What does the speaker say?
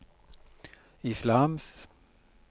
islams